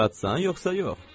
Şadsan yoxsa yox?